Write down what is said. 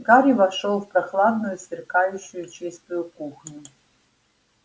гарри вошёл в прохладную сверкающую чистую кухню